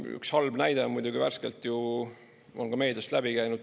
Üks halb näide on muidugi värskelt ka meediast läbi käinud.